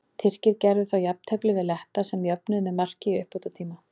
Tyrkir gerðu þá jafntefli við Letta sem jöfnuðu með marki í uppbótartíma.